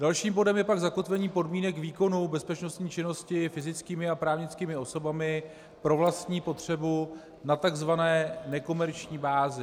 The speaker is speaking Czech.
Dalším bodem je pak zakotvení podmínek výkonu bezpečnostní činnosti fyzickými a právnickými osobami pro vlastní potřebu na tzv. nekomerční bázi.